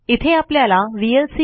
इथे आपल्याला व्हीएलसी